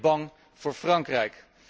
Zeker bang voor Frankrijk.